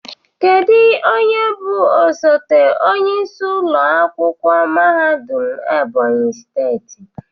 Kedu onye bụ osote onyeisi ụlọ akwụkwọ mahadum Ebonyi steeti?